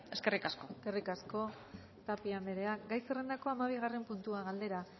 eskerrik asko eskerrik asko tapia anderea gai zerrendako hamabigarren puntua galdera